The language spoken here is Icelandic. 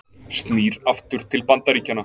Snýr aftur til Bandaríkjanna